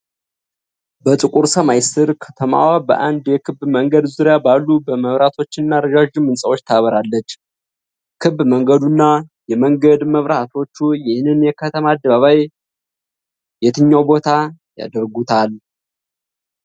በጥቁር ሰማይ ስር፣ ከተማዋ በአንድ የክብ መንገድ ዙሪያ ባሉ መብራቶችና ረዣዥም ሕንጻዎች ታበራለች። ክብ መንገዱና የመንገድ መብራቶቹ ይህንን የከተማ አደባባይ የትኛው ቦታ ያደርጉታል?